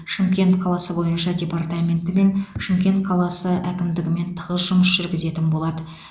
шымкент қаласы бойынша департаментімен шымкент қаласы әкімдігімен тығыз жұмыс жүргізетін болады